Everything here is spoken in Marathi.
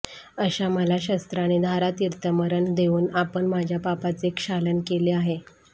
अशा मला शस्त्राने धारातीर्थी मरण देऊन आपण माझ्या पापाचे क्षालन केले आहे